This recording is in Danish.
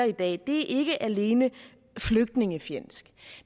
i dag ikke alene er flygtningefjendsk